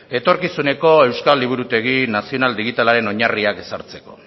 etorkizuneko euskal liburutegi nazionak digitalaren oinarriak ezartzeko